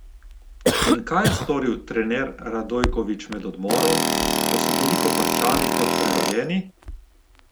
In kaj je storil trener Radojkovič med odmorom, da so bili Koprčani kot prerojeni?